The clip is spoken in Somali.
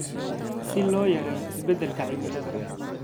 si loo yareeyo isbeddelka cimilada.